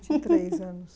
vinte e três anos.